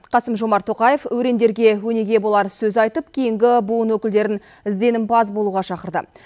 қасым жомарт тоқаев өрендерге өнеге болар сөз айтып кейінгі буын өкілдерін ізденімпаз болуға шақырды